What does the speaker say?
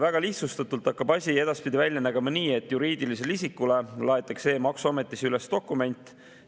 Väga lihtsustatult hakkab asi edaspidi välja nägema nii, et juriidilisele isikule laaditakse e‑maksuametis üles dokument.